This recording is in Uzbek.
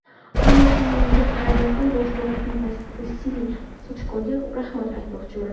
Ammo shunga qaramasdan bosh murabbiy Vasiliy Sachkoga rahmat aytmoqchiman.